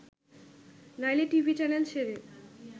নইলে TV channel ছেড়ে